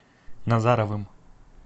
назаровым